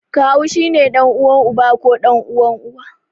Kawu shi ne ɗan'uwan uba ko ɗan'uwan Uwa.